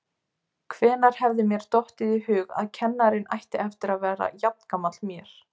Hvenær hefði mér dottið í hug að kennarinn ætti eftir að vera jafngamall mér!